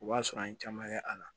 O b'a sɔrɔ an ye caman kɛ a la